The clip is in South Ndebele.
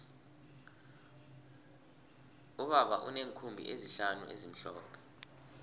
ubaba uneenkhumbi ezihlanu ezimhlophe